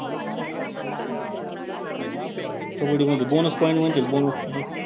कबड्डीमध्ये bonus point म्हणजे bonus point